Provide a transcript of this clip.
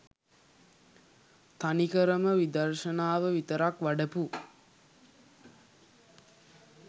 තනිකරම විදර්ශනාව විතරක් වඩපු